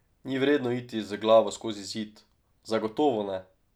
Ni vredno iti z glavo skozi zid, zagotovo ne.